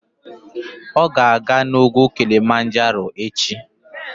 Ọ ga-aga n'ugwu Kilimanjaro echi.